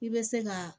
I bɛ se ka